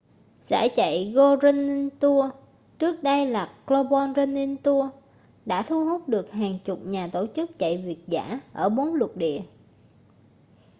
giải chạy go running tours trước đây là global running tours đã thu hút được hàng chục nhà tổ chức chạy việt dã ở bốn lục địa